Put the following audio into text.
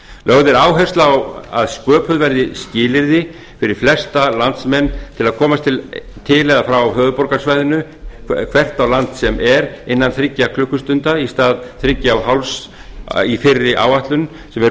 lögð er áhersla á að sköpuð verði skilyrði fyrir flesta landsmenn til að komast til eða frá höfuðborgarsvæðinu hvert á land sem er innan þriggja klukkustunda í stað þriggja og hálfs í fyrri áætlun sem er